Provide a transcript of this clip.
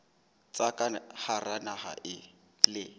tsa ka hara naha le